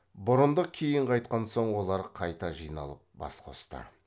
бұрындық кейін қайтқан соң олар қайта жиналып бас қосты